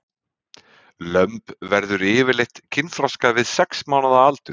Lömb verður yfirleitt kynþroska við sex mánaða aldur.